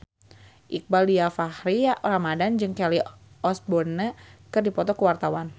Iqbaal Dhiafakhri Ramadhan jeung Kelly Osbourne keur dipoto ku wartawan